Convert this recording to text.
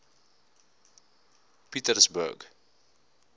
pietersburg